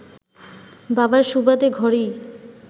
বাবার সুবাদে ঘরেই